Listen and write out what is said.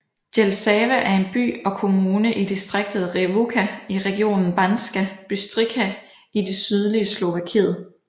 Jelšava er en by og kommune i distriktet Revúca i regionen Banská Bystrica i det sydlige Slovakiet